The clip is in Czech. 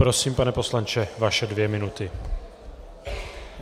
Prosím, pane poslanče, vaše dvě minuty.